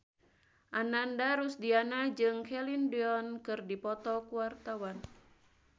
Ananda Rusdiana jeung Celine Dion keur dipoto ku wartawan